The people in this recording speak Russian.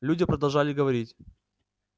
люди продолжали говорить